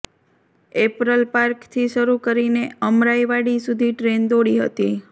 apparel પાર્કથી શરૂ કરીને અમરાઈવાડી સુધી ટ્રેન દોડી હતી